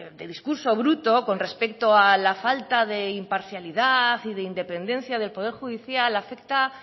de discurso bruto con respecto a la falta de imparcialidad y de independencia del poder judicial afecta